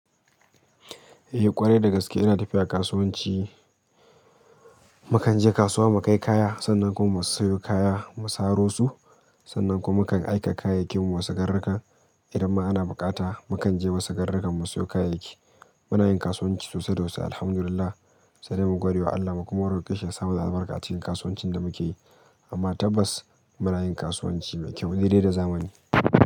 Eh ƙwarai dagaske ina tafiya kasuwanci. Mukan je kasuwa mukai kaya sannan kuma musu sayo kaya musa ro su, sannan kuma mukan aika kayayyakin mu musu garrakan. Idan ma ana buƙata mukan je musu garrakan musu sayo kayayyaki. Muna yin kasuwanci sosai da wasu Alhamdulillah. Sai dai mu gwadewa Allah kuma mu roƙi shi ya sa mana albarka a cikin kasuwancin da muke yi. Amma tabbas muna yin kasuwanci mai kyau, dai-dai da zamani.